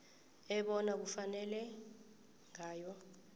ebona kufanele ngayo